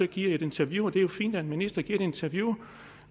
giver et interview og det er jo fint at en minister giver et interview